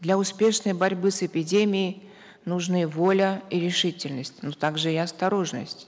для успешной борьбы с эпидемией нужны воля и решительность но также и осторожность